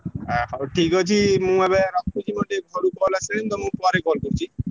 ହା ହଉ ଠିକ୍ ଅଛି ମୁଁ ଏବେ ରଖୁଛି ମୋର ଟିକେ ଘରୁ call ଆସିଲାଣି ମୁଁ ତମୁକୁ ପରେ call କରୁଚି।